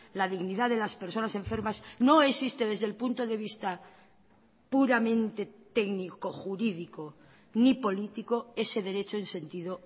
la dignidad de las personas enfermas no existe desde el punto de vista puramente técnico jurídico ni político ese derecho en sentido